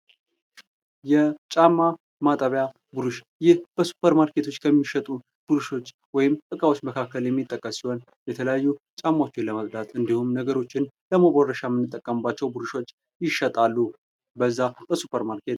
የጫማ ማጠቢያ ቡርሽ ይህ በሱፐር ማርኬቶች ከሚሸጡ ቡርሾች ወይም እቃወች መካከል የሚጠቀስ ሲሆን የተለያዩ ጫማወችን ለማጽዳት እንድሁም ነገሮችን ለመቦረሻ ምንጠቀምባቸው ቡርሾች ይሸጣሉ በዛ በሱፐርማርኬት